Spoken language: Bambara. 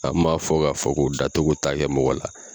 An m'a fɔ ka fɔ ko da togo t'a kɛ mɔgɔ la.